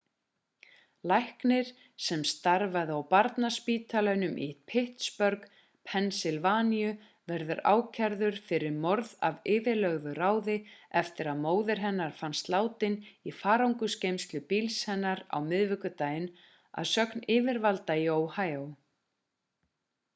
læknir sem starfaði á barnaspítalanum í pittsburgh pennsylvaníu verður ákærð fyrir morð af yfirlögðu ráði eftir að móðir hennar fannst látin í farangursgeymslu bíls hennar á miðvikudaginn að sögn yfirvalda í ohio